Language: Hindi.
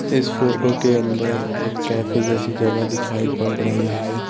इस फोटो के अंदर एक कैफे जैसी जगह दिखाई पड़ रही है।